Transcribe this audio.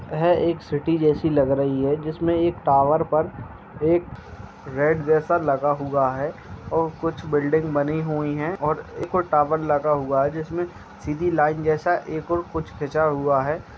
एक सिटी जैसी लग रही है जिसमें एक टावर पर एक रेड लगा हुआ है और कुछ बिल्डिंग बनी हुई हैं और एक ओर टावर लगा हुआ है जिसमें सीधी लाइन जैसा एक ओर कुछ खिंचा हुआ है।